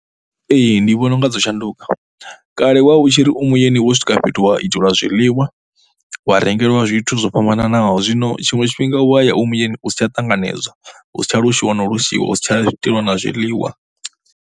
Ee, ndi vhona u nga dzo shanduka kale wa u tshi ri u muyeni wo swika fhethu wa itelwa zwiḽiwa wa rengeliwa zwithu zwo fhambananaho. Zwino tshiṅwe tshifhinga u ya ya u muyeni u si tsha tanganedzwa hu si tsha loshiwa na u loshiwa. Hu si tsha itelwa na zwiḽiwa.